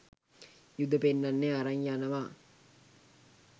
යුද පෙන්නන්න අරන් යනවා